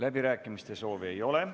Läbirääkimiste soovi ei ole.